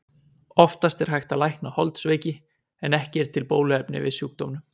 oftast er hægt að lækna holdsveiki en ekki er til bóluefni við sjúkdómnum